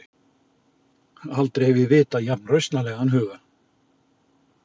Aldrei hef ég vitað jafn rausnarlegan huga.